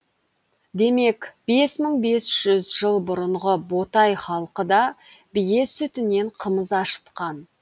демек бес мың бес жүз жыл бұрынғы ботай халқы да бие сүтінен қымыз ашытқан